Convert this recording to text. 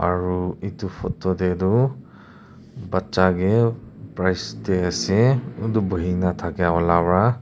aru etu photo teh tu baccha ke price de ase kuntu bohi na thaka wala pra.